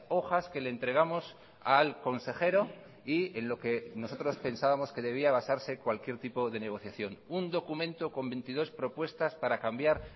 hojas que le entregamos al consejero y en lo que nosotros pensábamos que debía basarse cualquier tipo de negociación un documento con veintidós propuestas para cambiar